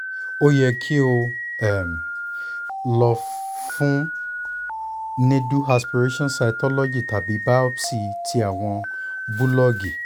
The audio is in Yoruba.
o yẹ ki o um lọ fun needle aspiration cytology tabi biopsy ti awọn bulọọgi